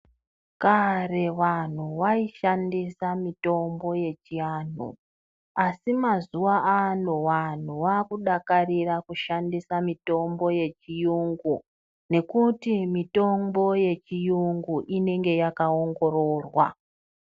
Kare vanhu vaishandisa mitombo yechianhu asi mazuwa ano wanhu wakudakarira kushandisa mitombo yechiyungu nekuti mitombo yechiyungu inenge yakaongororwa.